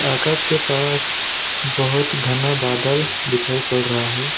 आकाश के पास बहुत घना बादल दिखाई पड़ रहा है।